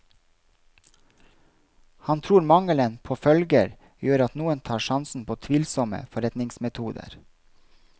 Han tror mangelen på følger gjør at noe tar sjansen på tvilsomme forretningsmetoder.